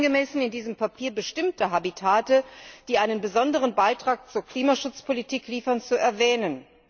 nicht angemessen, in diesem Papier bestimmte Habitate, die einen besonderen Beitrag zur Klimaschutzpolitik liefern, zu erwähnen.